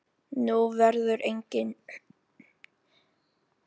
Nú verður engin.